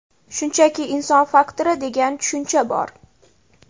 Shunchaki inson faktori degan tushuncha bor.